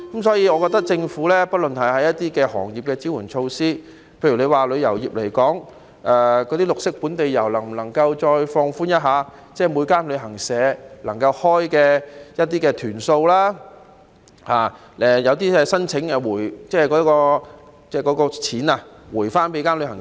所以，就政府對各行業提供的支援措施，例如以旅遊業來說，那些本地綠色遊的限制能否再次略為放寬，諸如每間旅行社能夠開辦的團數上限，以及可否加快把鼓勵金發給旅行社。